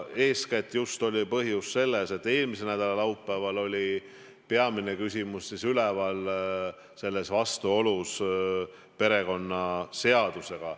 Eeskätt oli põhjus selles, et eelmise nädala laupäeval oli peamine küsimus, mis oli üleval, vastuolu perekonnaseadusega.